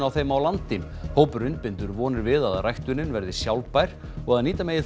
á þeim á landi hópurinn bindur vonir við að ræktunin verði sjálfbær og að nýta megi